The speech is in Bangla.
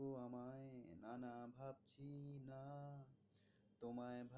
তোমায়